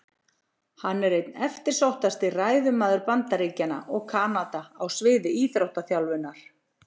Hann er einn eftirsóttasti ræðumaður Bandaríkjanna og Kanada á sviði íþróttaþjálfunar.